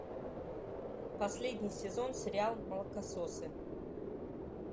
последний сезон сериал молокососы